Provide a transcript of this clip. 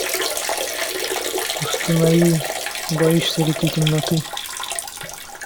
установи боишься ли ты темноты